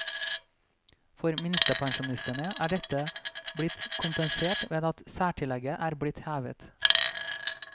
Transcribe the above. For minstepensjonistene er dette blitt kompensert ved at særtillegget er blitt hevet.